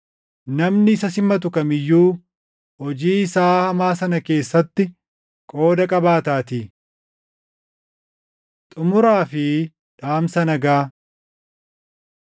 Namni isa simatu kam iyyuu hojii isaa hamaa sana keessatti qooda qabaataatii. Xumuraa fi Dhaamsa Nagaa